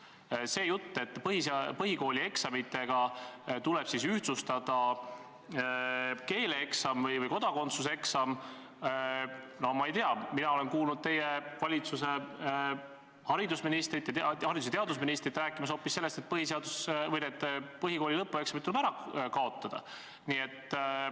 Ja see jutt, et keeleeksam või kodakondsuseksam tuleb võrdsustada põhikooli eksamitega – no ma ei tea, mina olen kuulnud teie valitsuse haridus- ja teadusministrit rääkimas hoopis sellest, et põhikooli lõpueksamid tuleb ära kaotada.